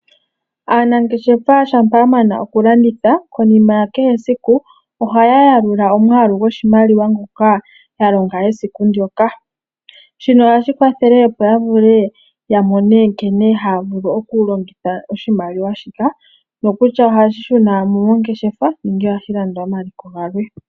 Aanangeshefa uuna ya mana okulanditha konima ya kehesiku ohaya yalula omwaalu gwoshimaliwa ngoka ya longa esiku ndyoka shino ohashi kwathele opo ya vule ya mone nkene haya vulu okulongitha oshimaliwa shika nokutya ohashi shuna mo mongeshefa nenge ohashi landa omaliko galwe.